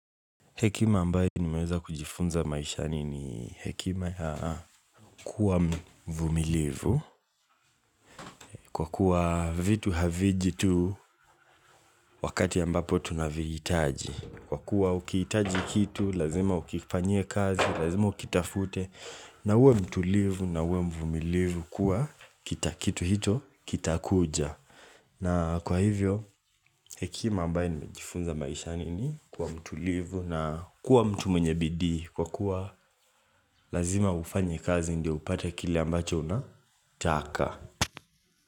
Hekima ambaye nimeweza kujifunza maisha nini hekima ya kuwa mvumilivu kwa kuwa vitu haviji wakati ambapo tunavihitaji. Kwa kuwa ukitaji kitu, lazima ukifanyie kazi, lazima ukitafute na uwe mtulivu na uwe mvumilivu kuwa kitu hicho kitakuja. Na kwa hivyo, hekima ambaye nimejifunza maisha ni kuwa mtulivu na kuwa mtu mwenye bidii Kwa kuwa lazima ufanya kazi ndio upate kile ambacho unataka.